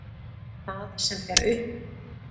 Það sem fer upp.